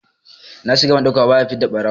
Na shiga ban ɗauka ba, ba ta fidda ɓarawo!